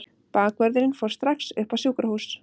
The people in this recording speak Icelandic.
Bakvörðurinn fór strax upp á sjúkrahús.